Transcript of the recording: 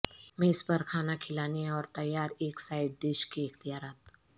میز پر کھانا کھلانے اور تیار ایک سائڈ ڈش کے اختیارات